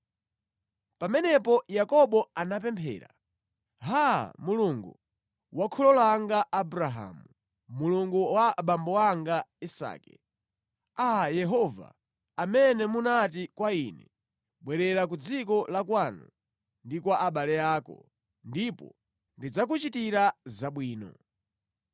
Pamenepo Yakobo anapemphera, “Haa, Mulungu wa kholo langa Abrahamu, Mulungu wa abambo anga Isake, Aa Yehova amene munati kwa ine, ‘Bwerera ku dziko la kwanu ndi kwa abale ako, ndipo ndidzakuchitira zabwino.’